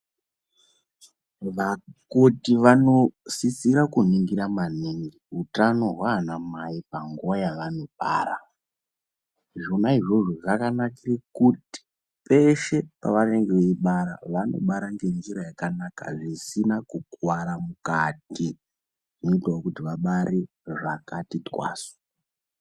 Vakoti vanosisira kuningira maningi utano hwaanamai panguwa yavanobara. Zvona izvozvo zvakanakire kuti peshe pavanenge veibara vanobara ngenzira yakanaka zvisina kukuwara mukati. Zvoitawo kuti vabare zvakati twasu